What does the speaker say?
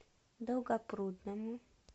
долгопрудному